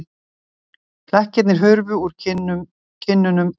Flekkirnir hurfu úr kinnunum og nú